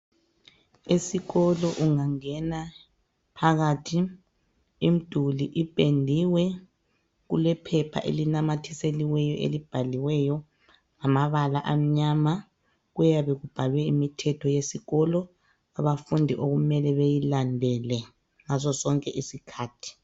Esikolo ungangena phakathi imduli ipendiwe kulephepha elinamathiselweyo elibhaliweyo ngamabala amnyama, kuyabe kubhaliwe imithetho yeskolo abafundi okumele beyilandele ngasosonke isikhathi.